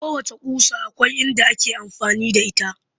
Kowacce ƙusa akwai inda ake amfani da ita